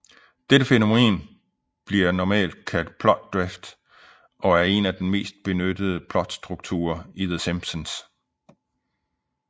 Dette fænomen bliver normalt kaldt plot drift og er den mest benyttede plotstruktur i The Simpsons